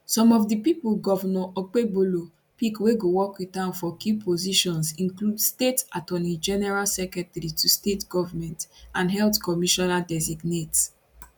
some of di pipo govnor okpebholo pick wey go work wit am for key positions include state attorneygeneral secretary to state government and health commissionerdesignate